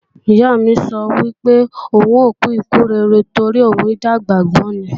Ìyá mi sọ wípé, òun ò kú ikú rere torí òun ò dàgbà gbó ni.